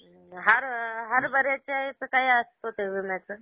हर, हरभऱ्याच्या याचं काय असतं ते विम्याचं?